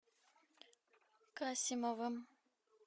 касимовым